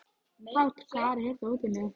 Páll, hvar er dótið mitt?